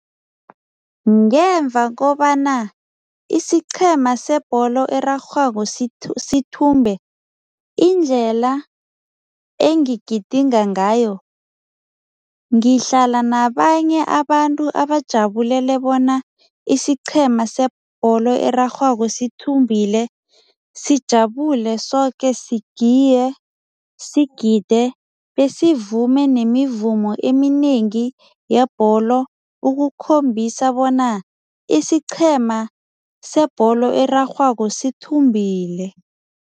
Ngemva kobana isiqhema sebholo erarhwako sithumbe, indlela engigidinga ngayo, ngihlala nabanye abantu abajabulele bona isiqhema sebholo erarhwako sithumbile. Sijabule soke, sigiye, sigide besivume nemivumo eminengi yebholo ukukhombisa bona isiqhema sebholo erarhwako sithumbile.